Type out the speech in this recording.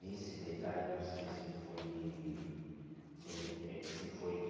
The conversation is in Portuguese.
Nesse detalhe, não sei se foi de... se eles hum... Se foi de...